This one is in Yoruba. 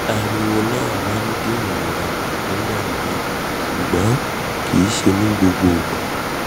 ariwo na ma n di irora na ku nigba miran ṣugbọn kii ṣe nigbagbogbo